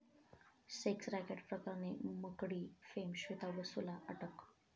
sex racket' प्रकरणी 'Makdee' fame Shweta बसूला अटक